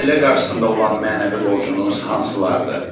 Ailə qarşısında olan mənəvi borcunuz hansılardır?